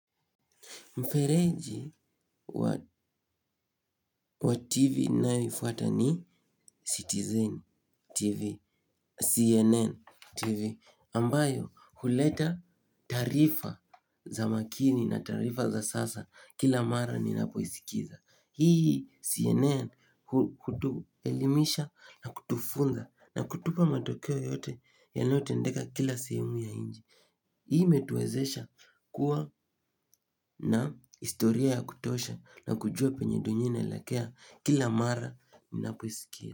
Mfereji wa TV nayoifuata ni Citizen TV, CNN TV, ambayo huleta tarifa za makini na tarifa za sasa kila mara ninapoisikiza. Hii CNN kutu elimisha na kutufunda na kutupa matokeo yote yanotendeka kila seumu ya inji. Hii imetuwezesha kuwa na istoria ya kutosha na kujua penye donyina ilakea kila mara minapoisikia.